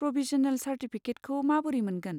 Provisional चार्टिफिकेटखौ माबोरै मोनगोन?